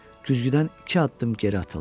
Güzgüdən iki addım geri atıldı.